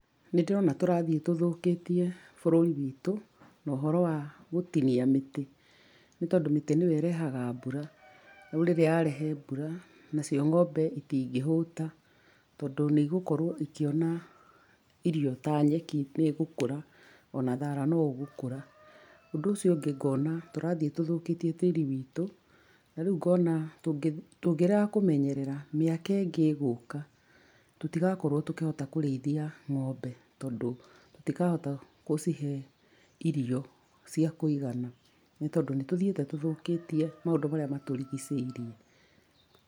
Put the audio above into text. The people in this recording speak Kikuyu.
Nĩ ndĩrona tũrathiĩ tũthũkĩtie bũrũri witũ no ũhoro wa gũtinia mĩtĩ. Nĩ tondũ mĩtĩ nĩo ĩrehaga mbura, rĩu rĩrĩa yarehe mbura, nacio ng'ombe itingĩhũta. Tondũ nĩigũkorwo ikĩona irio ta nyeki, nĩ gũkũra, ona thara no ũgũkũra. Ũndũ ũcio ũngĩ ngona tũrathiĩ tũthũkĩtie tĩri witũ. Na rĩu ngona tũngĩ, tũngĩrega kũmenyerera, mĩaka ĩngĩ ĩgũka, tũtigakorwo tũkĩhota kũrĩithia ng'ombe. Tondũ tũtikahota gũcihe irio cia kũigana. Nĩ tondũ nitũthiĩte tũthũkĩtie maũndũ marĩa matũrigicĩirie.